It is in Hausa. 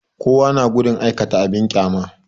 Kowa ya na gudun aikata abin ƙyama